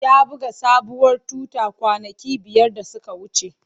Ya buga sabuwar tuta kwanaki biyar da suka wuce.